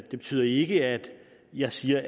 det betyder ikke at jeg siger